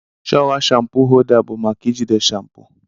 Showa shampo holda bu maka ijide shampo.